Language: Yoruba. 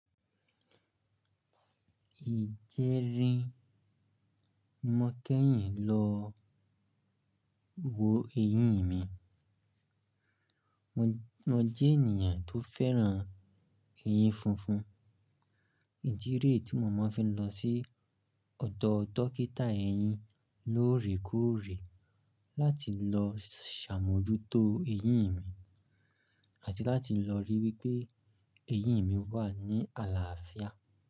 Ìjẹrin, mo kẹ́yìn lọ wo eyin mi. Mo jẹ́ ènìyàn tó fẹ́ràn eyín funfun. Ìdi rẹ̀ tí mo máa n fí lọ sí ọ̀dọ̀ dókítà eyín lóòrèkóòrè láti lọ ṣàmójútó eyín mi àti láti lọ ríi wípé eyín mi wà ní àlàáfíà.